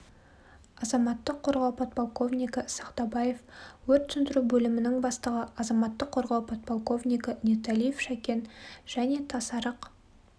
азаматтық қорғау подполковнигі сақтабаев өрт сөндіру бөлімінің бастығы азаматтық қорғау подполковнигі ниеталиев шәкен және тасарық